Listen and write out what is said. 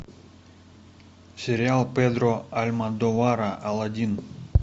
сериал педро альмодовара алладин